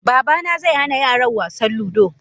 Babana zai hana yaran wasan ludo.